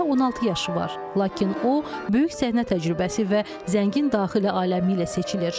Cəmi 16 yaşı var, lakin o böyük səhnə təcrübəsi və zəngin daxili aləmi ilə seçilir.